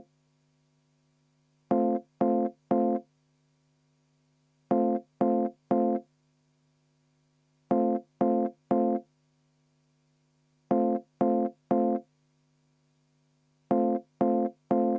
Kümme minutit vaheaega, palun!